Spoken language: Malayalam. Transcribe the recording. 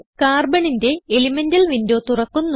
Carbonന്റെ എലിമെന്റൽ വിൻഡോ തുറക്കുന്നു